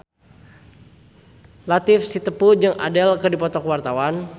Latief Sitepu jeung Adele keur dipoto ku wartawan